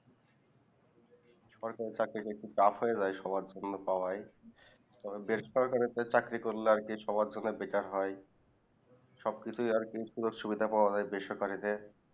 সরকারি চাকরিতে tough হয়ে যায় সবার জন্য পাওয়া তবে বেসরকারীদের চাকরি করলে আর কি সবার জন্য যেটা হয় সব কিছু সুবিধা আর কি সুবিধা পাওয়া যায় বেসরকারিদের